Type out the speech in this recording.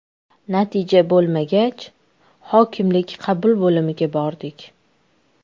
Natija bo‘lmagach, hokimlik qabul bo‘limiga bordik.